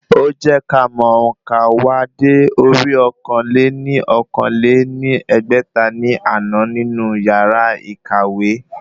Ó jẹ́ ká mọ òǹkà wa dé orí ọ̀kan-lé-ní-okòó lé ní ẹgbẹ́ta ní àná nínú yàrá ìkàwé